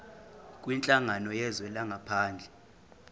kwinhlangano yezwe langaphandle